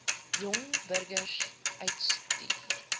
jong burgers uitstuur